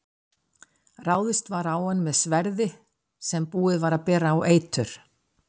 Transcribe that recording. Ráðist var á hann með sverði sem búið var að bera á eitur.